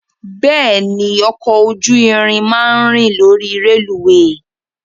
Bẹ́ẹ̀ni, ọkọ̀ ojú irin máa ń rìn lórí rélùweè.